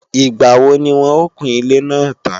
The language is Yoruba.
Ìgbàwo ni wọ́n o kun ilé náà tán